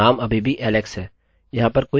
अतः हम नंबरnumber को एकोecho कर रहे हैं जोकि 1 है